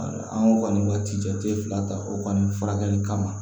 An ko kɔni ma ci jate fila ta o kɔni furakɛli kama